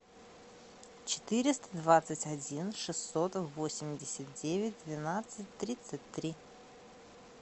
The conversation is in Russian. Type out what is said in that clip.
четыреста двадцать один шестьсот восемьдесят девять двенадцать тридцать три